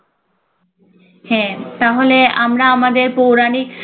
হ্যাঁ তাহলে আমরা আমাদের পৌরাণিক